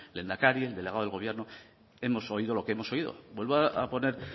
el lehendakari el delegado del gobierno hemos oído lo que hemos oído vuelvo a poner